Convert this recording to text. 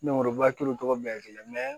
Nimɔrɔba kelen tɔgɔ bɛɛ ye kelen